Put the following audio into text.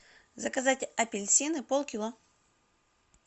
заказать апельсины пол кило